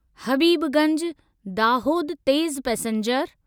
हबीबगंज दाहोद तेज़ पैसेंजर